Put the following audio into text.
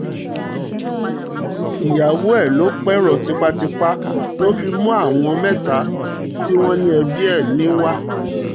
ìyàwó ẹ̀ ló pẹ̀rọ tipátipá ló fi mú àwọn mẹ́ta tí wọ́n ní ẹbí ẹ̀ ni wá